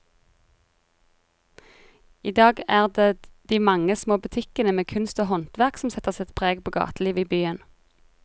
I dag er det de mange små butikkene med kunst og håndverk som setter sitt preg på gatelivet i byen.